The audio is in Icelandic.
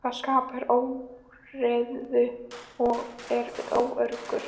Það skapar óreiðu og er óöruggt.